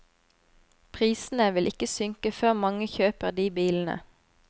Prisene vil ikke synke før mange kjøper de bilene.